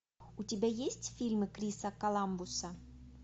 у тебя есть фильмы криса коламбуса